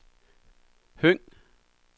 Høng